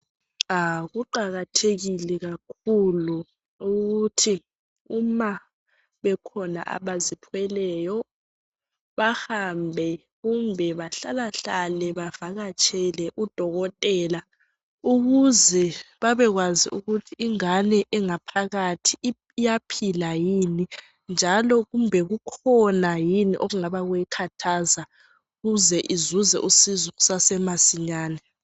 Kuqakathekile kakhulu ukuthi uma bekhona bazithweleyo bahambe kumbe bahlalahlale bavakatshele udokotela ukuze babekwazi ukuthi ingane engaphakathi iyaphila yini njalo kumbe kukhona yini okungabe kuyikhathaza ukuze izuze usizo kusasemasinyane.